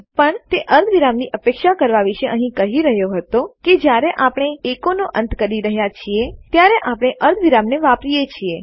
પણ તે અર્ધવિરામની અપેક્ષા કરવા વિશે અહીં કહી રહ્યો હતો કે જયારે આપણે એકોનો અંત કરીએ છીએ ત્યારે આપણે અર્ધવિરામને વાપરીએ છીએ